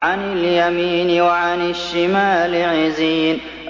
عَنِ الْيَمِينِ وَعَنِ الشِّمَالِ عِزِينَ